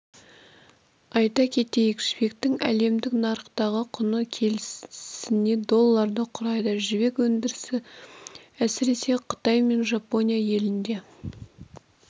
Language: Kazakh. айта кетейік жібектің әлемдік нарықтағы құны келісіне долларды құрайды жібек өндірісі әсіресе қытай мен жапония елінде